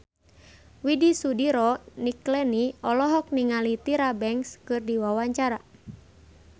Widy Soediro Nichlany olohok ningali Tyra Banks keur diwawancara